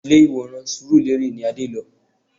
Ilé ìwòran surulere ni Adé lọ